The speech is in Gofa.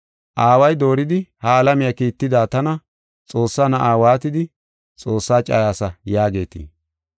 Aaway dooridi ha alamiya kiitida tana Xoossaa Na7a waatidi ‘Xoossaa cayaasa’ yaagetii?